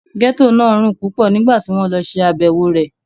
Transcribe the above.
Gẹ́tò náà rùn púpọ̀ nígbà tí wọ́n lọ ṣe àbẹ̀wò rẹ̀